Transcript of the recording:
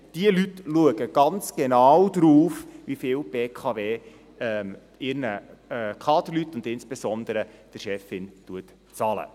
Diese Leute schauen ganz genau darauf, wie viel die BKW ihren Kaderleuten und insbesondere der Chefin zahlt.